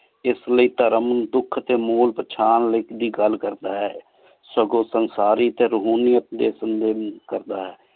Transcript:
ਏਸ ਲੈ ਧਰਮ ਦੁਖ ਟੀ ਮੋਲ ਪਛਾਣ ਲਾਇਕ ਲੈ ਗਲ ਕਰਦਾ ਹੈ ਸਗੋਂ ਸੰਗ੍ਸਾਰੀ ਸੀ ਰਹੂਨਿਯਤ ਦੀ ਸੰਦੇਹ ਵੀ ਕਰਦਾ ਹੈ